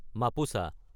Mapusa